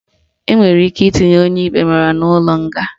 Enwere ike itinye onye ikpe mara n'ụlọ nga